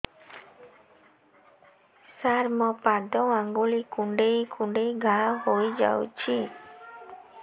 ସାର ମୋ ପାଦ ଆଙ୍ଗୁଳି କୁଣ୍ଡେଇ କୁଣ୍ଡେଇ ଘା ହେଇଯାଇଛି